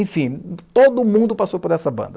Enfim, todo mundo passou por essa banda.